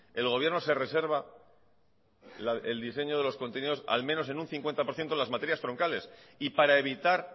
el gobierno se reserva el diseño de los contenidos al menos en un cincuenta por ciento las materias troncales y para evitar